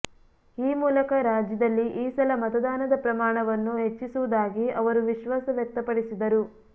ಈ ಮೂಲಕ ರಾಜ್ಯದಲ್ಲಿ ಈ ಸಲ ಮತದಾನದ ಪ್ರಮಾಣವನ್ನು ಹೆಚ್ಚಿಸುವುದಾಗಿ ಅವರು ವಿಶ್ವಾಸ ವ್ಯಕ್ತಪಡಿಸಿದರು